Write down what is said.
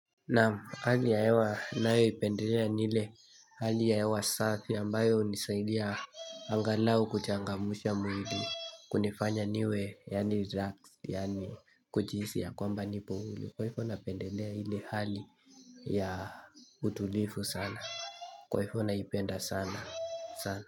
Nam, hali ya hewa nnayoipendelea ni ile hali ya hewa safi ambayo hunisaidia angalau kuchangamsha mwili kunifanya niwe yaani raks yaani kujihisi ya kwamba nipo huli kwa ivo napendelea hili hali ya utulivu sana kwa ivo naipenda sana sana.